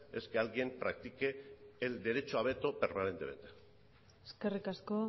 es que alguien practique el derecho a veto permanentemente eskerrik asko